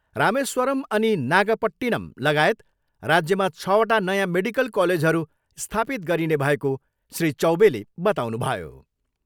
रामेस्वरम अनि नागपट्टिनम लगायत राज्यमा छवटा नयाँ मेडिकल कलेजहरू स्थापित गरिने भएको श्री चौबेले बताउनुभयो।